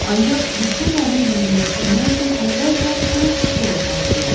Ancaq Viktoriyanı yüngülləşdirmək üçün əvvəlcə son üsulu əl atmalıyıq.